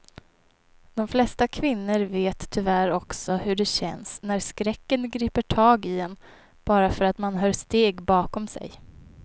De flesta kvinnor vet tyvärr också hur det känns när skräcken griper tag i en bara för att man hör steg bakom sig.